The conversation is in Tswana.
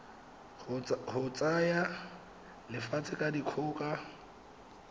go tsaya lefatshe ka dikgoka